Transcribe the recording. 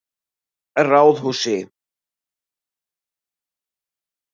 Ráðhúsi